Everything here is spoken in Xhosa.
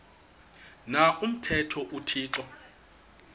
na umthetho uthixo